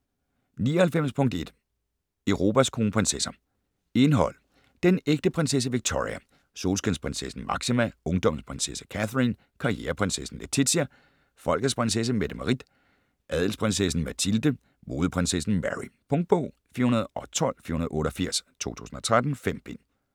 99.1 Europas kronprinsesser Indhold: Den ægte prinsesse Victoria, Solskinsprinsessen Máxima, Ungdommens prinsesse Catherine, Karriereprinsessen Letizia, Folkets prinsesse Mette-Marit, Adelsprinsessen Mathilde, Modeprinsessen Mary. Punktbog 412488 2013. 5 bind.